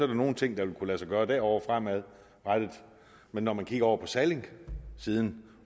der nogle ting der vil kunne lade sig gøre derovre fremadrettet men når man kigger over på sallingsiden